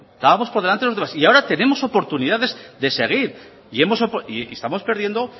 y ahora tenemos oportunidades de seguir y estamos perdiendo